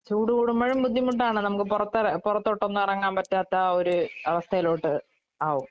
ചൂട് കൂടുമ്പഴും ബുദ്ധിമുട്ടാണ് നമുക്ക് പൊറത്തെറ പൊറത്തോട്ടെങ്ങും എറങ്ങാൻ പറ്റാത്ത ഒരു അവസ്ഥേലോട്ട് ആവും.